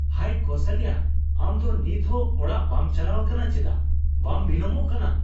ᱦᱟᱭ ᱠᱳᱥᱟᱞᱭᱟ, ᱟᱢ ᱫᱚ ᱱᱤᱛᱦᱚᱸ ᱚᱲᱟᱜ ᱵᱟᱢ ᱪᱟᱞᱟᱣ ᱟᱠᱟᱱᱟ ᱪᱮᱫᱟᱜ ? ᱵᱟᱢ ᱵᱤᱞᱚᱢᱚᱜ ᱠᱟᱱᱟ ?